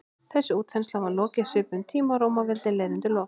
þessari útþenslu var lokið á svipuðum tíma og rómaveldi leið undir lok